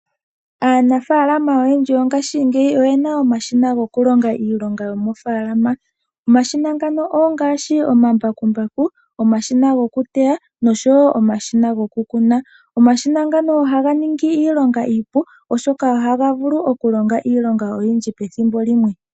Aanafalama oyendji yongashingeyi oye na omashina gokulonga iilonga yomoofaalama. Omashina ngano ongaashi omambakumbaku, omashina gokuteya nosho wo omashina okukuna. Omashina ngano ohaga ningi iilonga iipu, oshoka ohaga vulu okulonga iilonga oyindji pethimbo limwe.